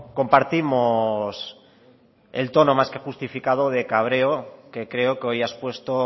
compartimos el tono más que justificado de cabreo que creo que hoy ha expuesto